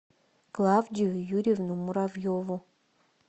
клавдию юрьевну муравьеву